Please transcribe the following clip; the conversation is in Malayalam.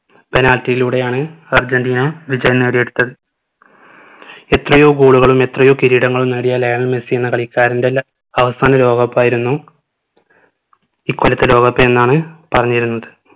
penalty യിലൂടെയാണ് അർജന്റീന വിജയം നേടി എടുത്തത് എത്രയോ goal കളും എത്രയോ കിരീടങ്ങളും നേടിയ ലയണൽ മെസ്സി എന്ന കളിക്കാരനറെ ല അവസാന ലോക cup ആയിരുന്നു ഇക്കൊല്ലത്തെ ലോക cup എന്നാണ് പറഞ്ഞിരുന്നത്